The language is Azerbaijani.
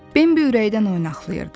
Bembi ürəkdən oynaqlayırdı.